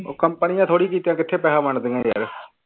ਉਹ company ਨੇ ਥੋੜ੍ਹੀ ਕੀਤੇ ਆ ਕਿੱਥੇ ਪੈਸੇ ਵੰਡਦੀਆਂ ਯਾਰ